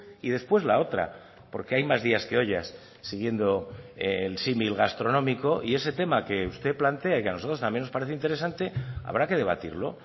y después la otra porque hay más días que ollas siguiendo el símil gastronómico y ese tema que usted plantea y que a nosotros también nos parece interesante habrá que debatirlo